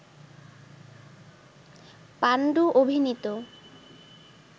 পান্ডু অভিনীত